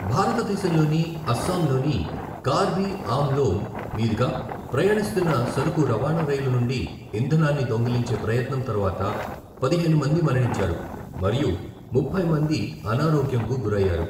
భారతదేశంలోని అస్సాంలోని కార్బి అంలొం మీదుగా ప్రయాణిస్తున్న సరుకు రవాణా రైలు నుండి ఇంధనాన్ని దొంగిలించే ప్రయత్నం తర్వాత పదిహేను మంది మరణించారు మరియు ముప్పై మంది అనారోగ్యంకు గురయ్యారు.